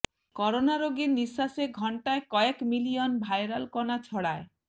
corona রোগীর নিশ্বাসে ঘণ্টায় কয়েক মিলিয়ন ভাইরাল কণা ছড়ায়